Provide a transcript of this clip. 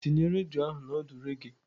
Tinye redio ahụ na ọdụ reggae.